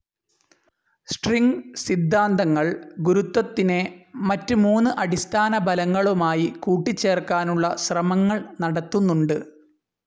String സിദ്ധാന്തങ്ങൾ ഗുരുത്വത്തിനെ മറ്റ് മൂന്ന് അടിസ്ഥാന ബലങ്ങളുമായി കൂട്ടിച്ചേർക്കാനുള്ള ശ്രമങ്ങൾ നടത്തുന്നുണ്ട്.